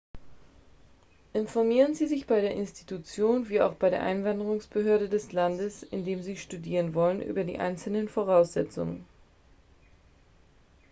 informieren sie sich bei der institution wie auch bei der einwanderungsbehörde des landes in dem sie studieren wollen über die einzelnen voraussetzungen